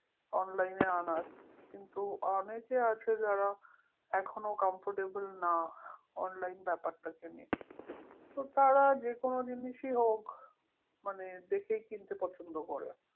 Online এ আনার কিন্তু অনেকে আছে যারা এখনো comfortable না online ব্যাপারটা কে নিয়ে, তো তারা যেকোনো জিনিসই হোক মানে দেখে কিনতে পছন্দ করে